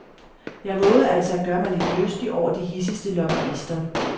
Jeg vovede altså at gøre mig lidt lystig over de hidsigste lobbyister.